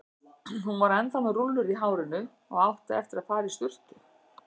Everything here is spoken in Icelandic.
Hún var ennþá með rúllur í hárinu og átti eftir að fara í sturtu.